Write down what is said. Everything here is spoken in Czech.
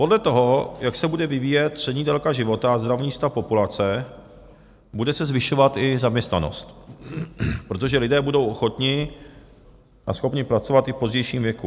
Podle toho, jak se bude vyvíjet střední délka života a zdravotní stav populace, bude se zvyšovat i zaměstnanost, protože lidé budou ochotni a schopni pracovat i v pozdějším věku.